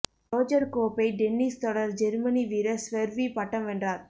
Roger கோப்பை tennis தொடர் Germany வீரர் ஸ்வெர்வி பட்டம் வென்றார்